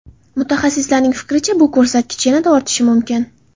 Mutaxassislarning fikricha, bu ko‘rsatkich yanada ortishi mumkin.